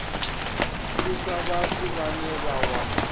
thusa vhathu vhane vha wana